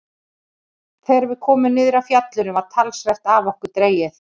Þegar við komum niður af fjallinu var talsvert af okkur dregið.